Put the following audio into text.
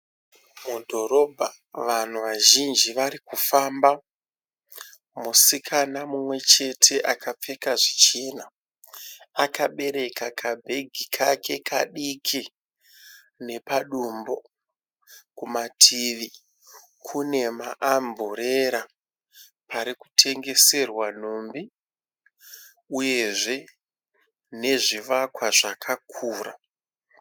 Mudhorobha vanhu vazvinji varikufamba. Musikana mumwe chete akapfeka zvichena. Akabereka kabhegi kake kadiki nepadumbu. Kumativi kune maamburera pari kutengeserwa nhumbi uyezve nezvivakwa zvakakura.